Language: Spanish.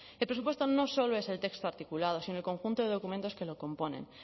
el presupuesto no solo es el texto articulado sino el conjunto de documentos que lo componen